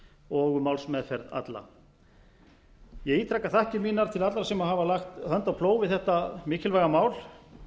og um málsmeðferð alla ég ítreka þakkir mínar til allra sem hafa lagt hönd á plóg við þetta mikilvæga mál